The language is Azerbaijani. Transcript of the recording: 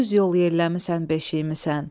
Yüz yol yelləmisən beşiyimi sən.